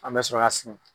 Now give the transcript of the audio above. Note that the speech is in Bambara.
An bɛ sɔrɔ ka segin